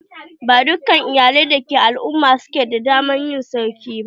Ba dukkan iyalai dake al"umma su ke da dama na yin sarki ba